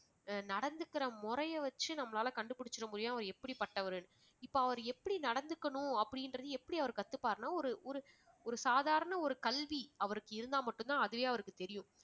நடந்துக்கிற முறையை வச்சு நம்மளால கண்டுபுடிச்சிட முடியும் அவர் எப்படிப்பட்டவர்னு. இப்ப அவரு எப்படி நடந்துக்கணும் அப்படிங்கறத எப்படி அவரு கத்துப்பாருனா ஒரு ஒரு ஒரு சாதாரண ஒரு கல்வி அவருக்கு இருந்தா மட்டும்தான் அதுவே அவருக்கு தெரியும்